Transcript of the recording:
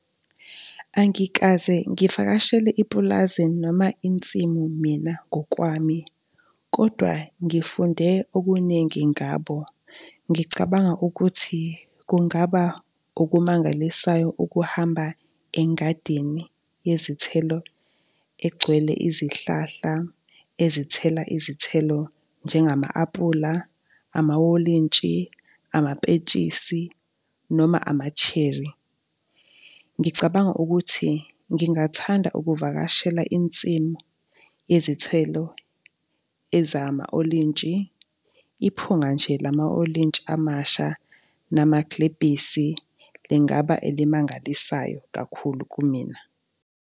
Angikaze ngivakashele ipulazi noma insimu mina ngokwami kodwa ngifunde okuningi ngabo. Ngicabanga ukuthi kungaba okumangalisayo ukuhamba engadini yezithelo egcwele izihlahla ezithela izithelo njengama-apula, amawolintshi, amapetshisi, noma ama-cherry. Ngicabanga ukuthi ngingathanda ukuvakashela insimu yezithelo ezama-olintshi, iphunga nje lama-olintshi amasha namagilebhisi lingaba elimangalisayo kakhulu kumina.